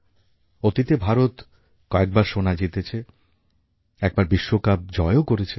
অতীতে ভারত কয়েকবার সোনা জিতেছে একবার বিশ্বকাপ জয়ও করেছে